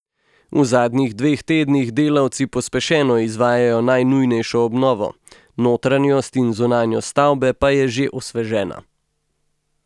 V zadnjih dveh tednih delavci pospešeno izvajajo najnujnejšo obnovo, notranjost in zunanjost stavbe pa je že osvežena.